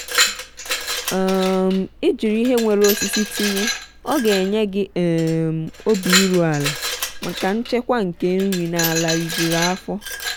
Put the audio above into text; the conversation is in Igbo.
um ijiri ihe nwere osisi tinye oga enye gị um obi iru ala maka nchekwa nke nri na ala ri jụrụ afọ.